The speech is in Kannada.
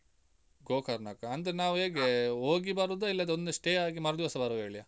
ಗೋಕರ್ಣಕ್ಕ? ಅಂದ್ರೆ ನಾವು ಹೇಗೆ? ಹೋಗಿ ಬರುದಾ ಇಲ್ಲಾದ್ರೆ ಒಂದ stay ಮರುದಿವಸ ಬರುವ ಹೇಳಿಯಾ?